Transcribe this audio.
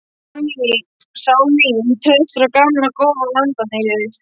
Sál mín treystir á gamla góða lamadýrið.